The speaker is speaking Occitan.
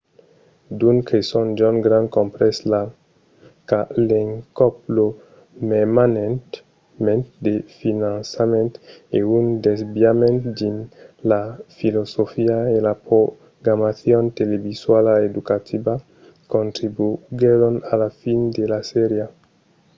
d'unes creson john grant comprés qu'a l’encòp lo mermament de finançament e un desaviament dins la filosofia e la programacion televisuala educativa contribuguèron a la fin de la sèria